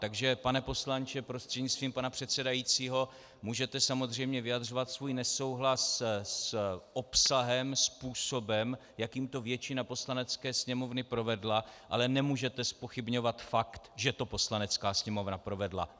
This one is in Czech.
Takže pane poslanče prostřednictvím pana předsedajícího, můžete samozřejmě vyjadřovat svůj nesouhlas s obsahem, způsobem, jakým to většina Poslanecké sněmovny provedla, ale nemůžete zpochybňovat fakt, že to Poslanecká sněmovna provedla.